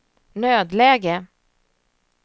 nödläge